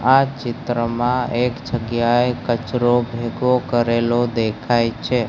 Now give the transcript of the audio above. આ ચિત્રમાં એક જગ્યાએ કચરો ભેગો કરેલો દેખાઈ છે.